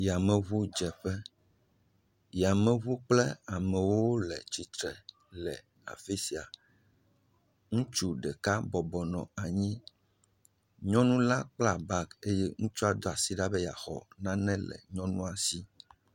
Yameŋudzeƒe. Yameŋu kple amewo le tsitre le afi sia. Ŋutsu ɖeka bɔbɔnɔ anyi, nyɔnu la kpla bagi eye ŋutsua do asi ɖa be yeaxɔ nane le ŋutsua si.